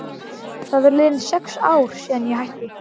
Það eru liðin sex ár síðan ég hætti.